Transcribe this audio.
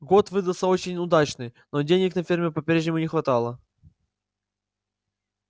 год выдался очень удачный но денег на ферме по-прежнему не хватало